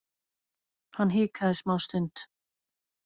Hann hikaði smástund.